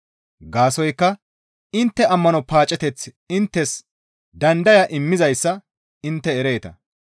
Gaasoykka intte ammano paaceteththi inttes dandaya immizayssa intte ereeta.